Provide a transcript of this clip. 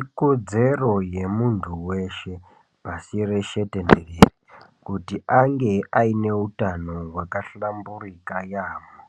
Ikodzero yemunthu weshe, pashi reshe kuti ange aine utano hwakahlamburika yaamho.